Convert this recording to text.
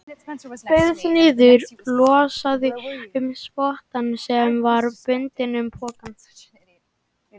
Beygði sig niður og losaði um spottann sem var bundinn um pokann.